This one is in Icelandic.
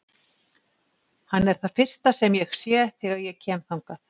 Hann er það fyrsta sem ég sé þegar ég kem þangað.